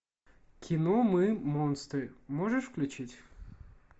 кино мы монстры можешь включить